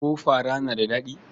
Ko fara na da daɗi?